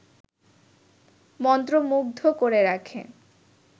মন্ত্রমুগ্ধ করে রাখে